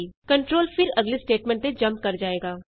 control ਫਿਰ ਅਗਲੀ statement ਤੇ ਜੰਪ ਕਰ ਜਾਏਗਾ